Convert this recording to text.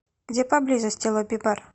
где поблизости лобби бар